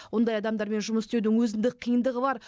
ондай адамдармен жұмыс істеудің өзіндік қиындығы бар